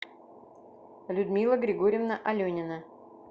людмила григорьевна аленина